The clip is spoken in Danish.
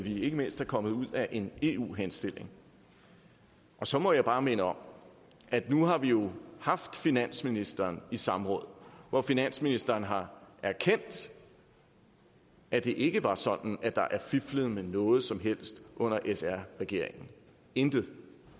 ikke mindst er kommet ud af en eu henstilling og så må jeg bare minde om at nu har vi jo haft finansministeren i samråd hvor finansministeren har erkendt at det ikke var sådan at der blev fiflet med noget som helst under sr regeringen intet